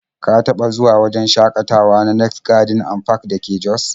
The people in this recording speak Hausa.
Ka taɓa zuwa wajen shakatawa na next garden and park da ke jos?